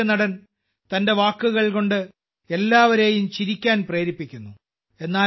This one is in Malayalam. ഒരു ഹാസ്യനടൻ തന്റെ വാക്കുകൾ കൊണ്ട് എല്ലാവരെയും ചിരിക്കാൻ പ്രേരിപ്പിക്കുന്നു